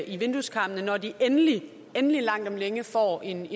i vindueskarmene når de endelig endelig langt om længe får en